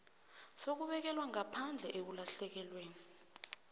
sokubekelwa ngaphandle ekulahlekelweni